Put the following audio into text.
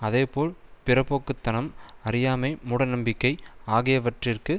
அதேபோல் பிற்போக்கு தனம் அறியாமை மூடநம்பிக்கை ஆகியவற்றிற்கு